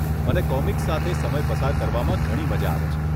મને કોમિક્સ સાથે સમય પસાર કરવામાં ઘણી મજા આવે છે.